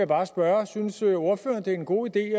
bare spørge synes ordføreren det er en god idé at